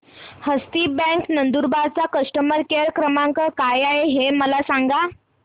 हस्ती bank Nandurbar चा customer care क्रमांक काय आहे हे मला सांगा